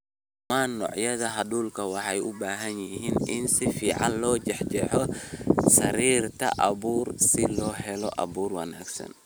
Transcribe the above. "Dhammaan noocyada hadhuudhka waxay u baahan yihiin in si fiican loo jeexjeexo, sariirta abuur si loo helo abuur wanaagsan."